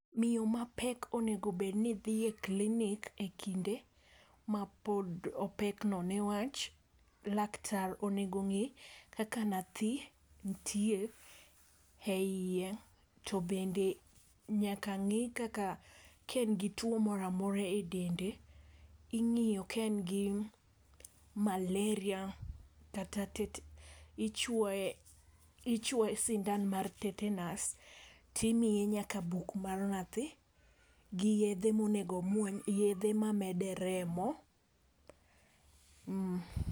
Miyo mapek onego bed oni dhie clinic e kinde ma pod opek no newach laktar onego ng'i kaka nyathi ntie e iye to bende nyaka ng'i kaka ka en gi tuo moramora e dende. Ing’yo ka en gi malaria kata ichuoye sindan mar tetanus timiye nyaka buk mar Nyathi gi yedhe monego omuony, yedhe ma mede remo.